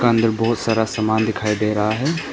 का अंदर बहुत सारा सामान दिखाई दे रहा है।